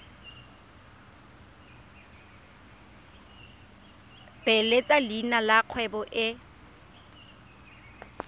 beeletsa leina la kgwebo e